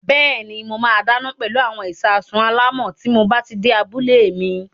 Bẹ́ẹ̀ni, mo máa dáná pẹlú àwọn ìṣasùn alámọ̀ tí mob á ti dé abúlé mi.